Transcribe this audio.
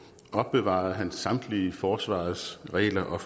opbevarede samtlige forsvarets regler og